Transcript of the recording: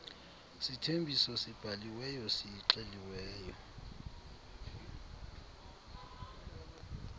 sithembiso sibhaliweyo sixeliweyo